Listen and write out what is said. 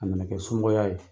A nana kɛ somɔgɔya ye.